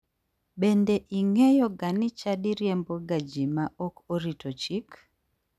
Bende ing'eyoga ni chadi riemboga ji ma ok orito chik?